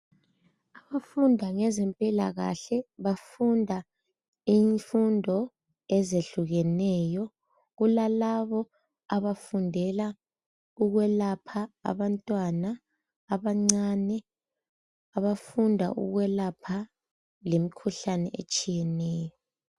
Abafunda ngezempilakahle bafunda imfundo ezehlukeneyo kulalabo abafundela ukwelapha abantwana abancane abafunda ukwelapha lemkhuhlane etshiyeneyeneyo.